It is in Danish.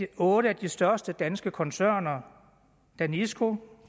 otte af de største danske koncerner danisco